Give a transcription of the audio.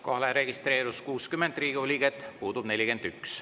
Kohalolijaks registreerus 60 Riigikogu liiget, puudub 41.